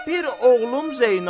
Bir oğlum Zeynal.